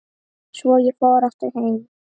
Svo ég fór aftur heim.